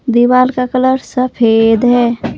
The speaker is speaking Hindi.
दीवार का कलर सफेद है।